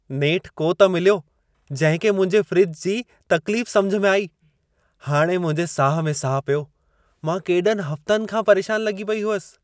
नेठ को त मिलियो जंहिं खे मुंहिंजे फ़्रिज जी तक़्लीफ़ समिझ में आई। हाणे मुंहिंजे साह में साहु पियो। मां केॾनि हफ़्तनि खां परेशान लॻी पई हुअसि।